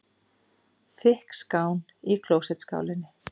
Þykk skán í klósettskálinni.